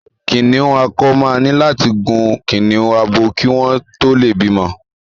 Kìnnìún akọ máa ní láti gun kìnnìún abo kí wọ́n tó lè bímọ.